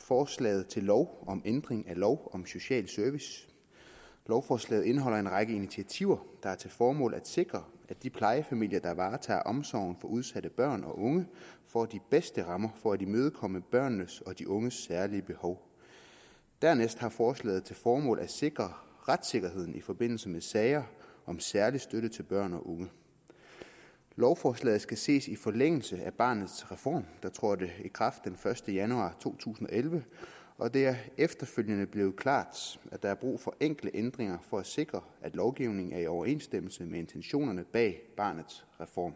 forslag til lov om ændring af lov om social service lovforslaget indeholder en række initiativer der har til formål at sikre at de plejefamilier der varetager omsorgen for udsatte børn og unge får de bedste rammer for at imødekomme børnenes og de unges særlige behov dernæst har forslaget til formål at sikre retssikkerheden i forbindelse med sager om særlig støtte til børn og unge lovforslaget skal ses i forlængelse af barnets reform der trådte i kraft den første januar to tusind og elleve og det er efterfølgende blevet klart at der er brug for enkelte ændringer for at sikre at lovgivningen er i overensstemmelse med intentionerne bag barnets reform